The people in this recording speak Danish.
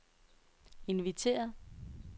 inviteret